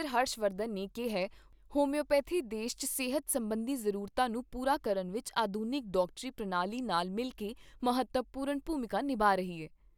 ਹਰਸ਼ ਵਰਧਨ ਨੇ ਕਿਹਾ ਹੋਮਿਓਪੈਥੀ ਦੇਸ਼ 'ਚ ਸਿਹਤ ਸਬੰਧੀ ਜ਼ਰੂਰਤਾਂ ਨੂੰ ਪੂਰਾ ਕਰਨ ਵਿਚ ਆਧੁਨਿਕ ਡਾਕਟਰੀ ਪ੍ਰਣਾਲੀਆਂ ਨਾਲ ਮਿਲਕੇ ਮਹੱਤਵਪੂਰਨ ਭੂਮਿਕਾ ਨਿਭਾ ਰਹੀ ਐ।